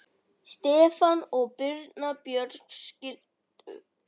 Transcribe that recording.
Stefán og Birna Björg skildu.